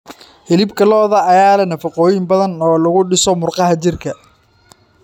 Hilibka lo'da ayaa leh nafaqooyin badan oo lagu dhiso murqaha jirka.